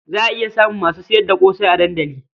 Za iya samun masu sayar da ƙosai a dandali.